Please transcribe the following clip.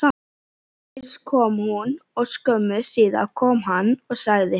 Fyrst kom hún og skömmu síðar kom hann og sagði: